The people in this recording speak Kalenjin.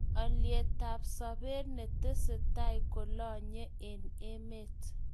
Olietab sobet netesesai kolonye eng emet